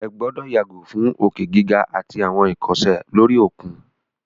Ẹ gbọ́dọ̀ yàgò fún òkè gíga àtí àwọn ìkọsẹ̀ lóri òkun!